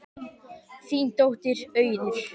Þín dóttir Auður.